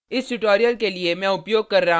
इस ट्यूटोरियल के लिए मैं उपयोग कर रहा हूँ